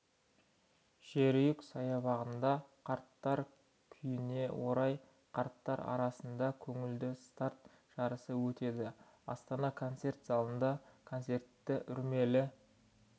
жерұйық саябағында қарттар күніне орай қарттар арасында көңілді старт жарысы өтеді астана концерт залында концерті үрмелі